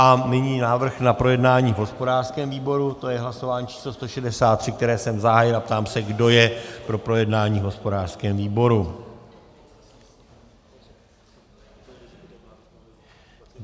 A nyní návrh na projednání v hospodářském výboru, to je hlasování číslo 163, které jsem zahájil, a ptám se, kdo je pro projednání v hospodářském výboru.